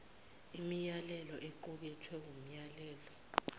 imiyalelo equkethwe wumyalelo